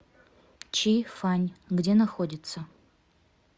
чи фань где находится